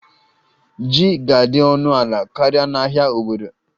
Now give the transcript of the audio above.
Ji ga-adị ọnụ ala karịa na ahịa obodo